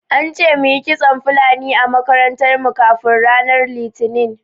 An ce muyi kitson Fulani a makarantar mu kafin ranar Litinin.